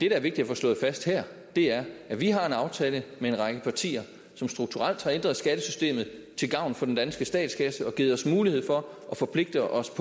er vigtigt at få slået fast her er at vi har en aftale med en række partier som strukturelt har ændret skattesystemet til gavn for den danske statskasse og givet os mulighed for at forpligte os